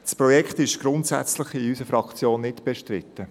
In unserer Fraktion ist das Projekt grundsätzlich nicht bestritten.